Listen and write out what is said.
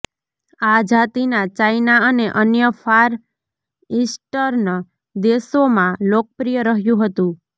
આ જાતિના ચાઇના અને અન્ય ફાર ઈસ્ટર્ન દેશોમાં લોકપ્રિય રહ્યું હતું